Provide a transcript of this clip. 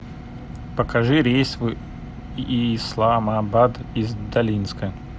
покажи рейс в исламабад из долинска